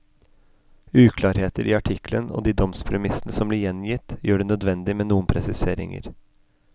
Uklarheter i artikkelen og de domspremissene som blir gjengitt, gjør det nødvendig med noen presiseringer.